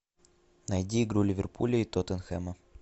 найди игру ливерпуля и тоттенхэма